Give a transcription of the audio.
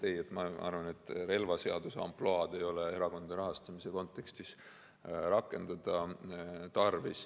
Ei, ma arvan, et relvaseaduse ampluaad ei ole erakondade rahastamise kontekstis tarvis rakendada.